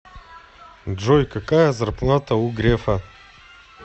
джой какая зарплата у грефа